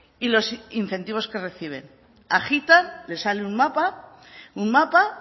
y los incentivos que reciben agitan les sale un mapa un mapa